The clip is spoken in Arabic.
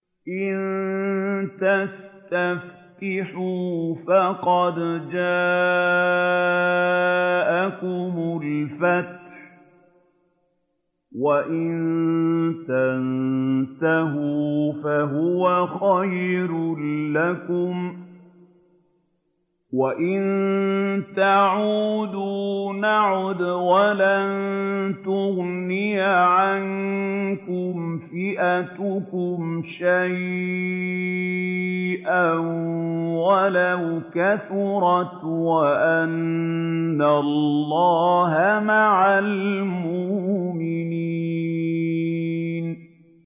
إِن تَسْتَفْتِحُوا فَقَدْ جَاءَكُمُ الْفَتْحُ ۖ وَإِن تَنتَهُوا فَهُوَ خَيْرٌ لَّكُمْ ۖ وَإِن تَعُودُوا نَعُدْ وَلَن تُغْنِيَ عَنكُمْ فِئَتُكُمْ شَيْئًا وَلَوْ كَثُرَتْ وَأَنَّ اللَّهَ مَعَ الْمُؤْمِنِينَ